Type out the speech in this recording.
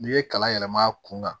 N'i ye kalan yɛlɛma a kun kan